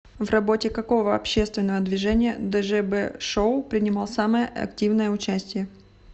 в работе какого общественного движения дж б шоу принимал самое активное участие